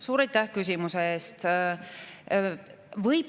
Suur aitäh küsimuse eest!